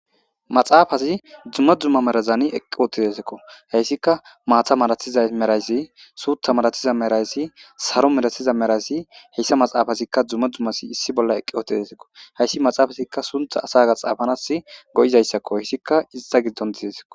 maxaafazi dumma dumma merazani eqqi ootidesikko heyssika maatha madathiza merayssi suutha malathiza merayssi saro medatsiza merayssi heyssa maxaafazikka dzumma dzummasi issi bolla eqqi otidesikko heyssi maxaafazikka suntha asaga xaafanas go7izayssakko hissikka ista giddon dizesiko